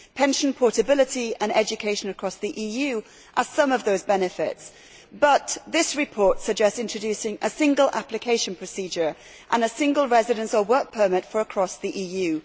Pension portability and education across the EU are some of those benefits, but this report suggests introducing a single application procedure and a single residence or work permit for across the EU.